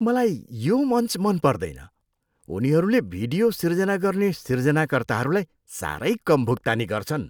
मलाई यो मञ्च मन पर्दैन। उनीहरूले भिडियो सिर्जना गर्ने सिर्जनाकर्ताहरूलाई साह्रै कम भुक्तानी गर्छन्।